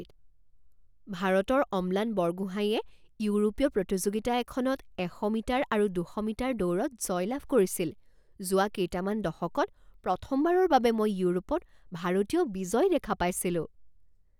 ভাৰতৰ অম্লান বৰগোহাঁইয়ে ইউৰোপীয় প্ৰতিযোগিতা এখনত এশ মিটাৰ আৰু দুশ মিটাৰ দৌৰত জয়লাভ কৰিছিল। যোৱা কেইটামান দশকত প্ৰথমবাৰৰ বাবে মই ইউৰোপত ভাৰতীয় বিজয় দেখা পাইছিলোঁ